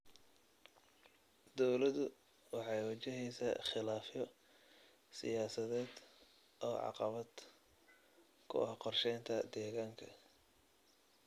Dawladdu waxay wajaheysaa khilaafyo siyaasadeed oo caqabad ku ah qorsheynta deegaanka.